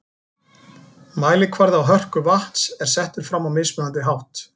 Mælikvarði á hörku vatns er settur fram á mismunandi hátt.